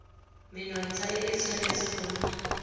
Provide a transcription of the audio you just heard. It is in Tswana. menontsha e tshwanetse go nna